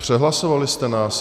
Přehlasovali jste nás.